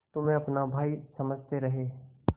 तुम्हें अपना भाई समझते रहे